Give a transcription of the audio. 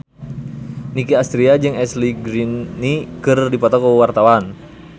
Nicky Astria jeung Ashley Greene keur dipoto ku wartawan